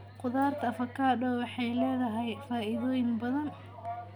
Khudaarta avocado waxay leedahay faa'iidooyin badan.